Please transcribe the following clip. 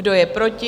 Kdo je proti?